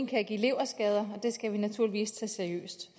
kan give leverskader og det skal vi naturligvis tage seriøst